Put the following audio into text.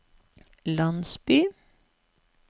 landsby